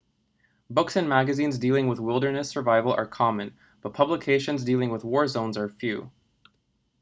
books and magazines dealing with wilderness survival are common but publications dealing with war zones are few